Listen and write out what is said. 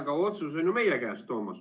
Aga otsus on ju meie käes, Toomas.